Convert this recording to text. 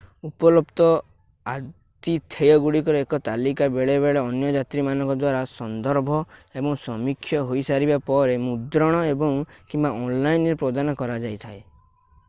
ଉପଲବ୍ଧ ଆତିଥେୟଗୁଡିକର ଏକ ତାଲିକା ବେଳେବେଳେ ଅନ୍ୟ ଯାତ୍ରୀମାନଙ୍କ ଦ୍ଵାରା ସନ୍ଦର୍ଭ ଏବଂ ସମୀକ୍ଷା ହୋଇସାରିବା ପରେ ମୁଦ୍ରଣ ଏବଂ / କିମ୍ବା ଅନଲାଇନ୍ ରେ ପ୍ରଦାନ କରାଯାଇଥାଏ